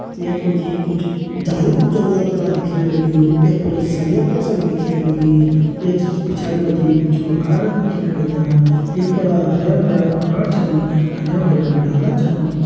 यख मजी कुछ झाली कु जंगला करां दिखेण लग्युं। यख फण सरिया कर छन दिखेण लगीं। यक स पिछाड़ि मजी कुछ मकानन दिखेण लग्यां। यख पणा हरियां भरियां पहाड़ छन हरियां भरियां डाला छन।